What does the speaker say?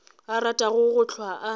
a ratago go hlwa a